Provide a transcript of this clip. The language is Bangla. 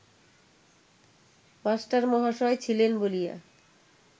মাস্টারমহাশয় ছিলেন বলিয়া